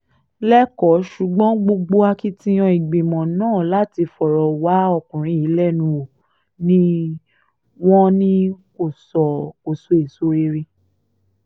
lẹ́kọ̀ọ́ ṣùgbọ́n gbogbo akitiyan ìgbìmọ̀ náà láti fọ̀rọ̀ wá ọkùnrin yìí lẹ́nu wò ni wò ni kò so èso rere